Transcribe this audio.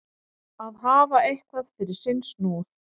Að hafa eitthvað fyrir sinn snúð